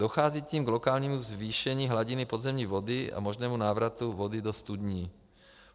Dochází tím k lokálnímu zvýšení hladiny podzemní vody a možnému návratu vody do studní.